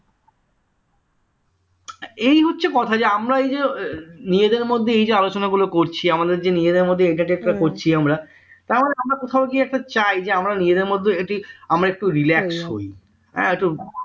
এই হচ্ছে কথা যে আমরা যে নিজেদের মধ্যে এই যে আলোচনা গুলো করছি আমাদের যে নিজেদের মধ্যে entertain টা করছি আমরা আমরা কোথাও কি একটু চাই যে আমরা নিজেদের মধ্যে একটি আমরা একটু relax করি হ্যাঁ তো